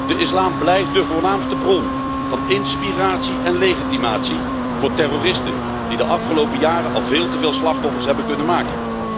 De islam blijft de voornaamste bron van inspiratie en legitimatie voor terroristen die de afgelopen jaren al veel te veel slachtoffers hebben kunnen maken.